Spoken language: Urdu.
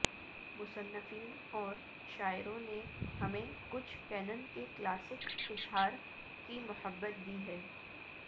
مصنفین اور شاعروں نے ہمیں کچھ کینن کے کلاسک اظہار کی محبت دی ہے